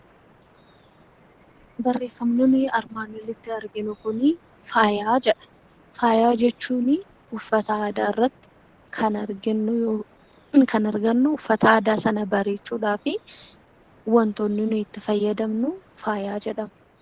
Barreeffamoonni armaan olitti arginu kunii faayaa jedha. Faaya jechuunii uffata aadaa irratti kan arginu yookiin kan argannu uffata aadaa sana bareechuudhaafi wantootni nuyi itti fayyadamnu faayaa jedhama.